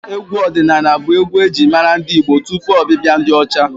Egwu ọdịnaala bụ egwu e ji mara ndị Igbo tupu ọbịbịa ndị ọcha.